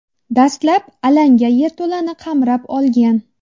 Dastlab alanga yerto‘lani qamrab olgan.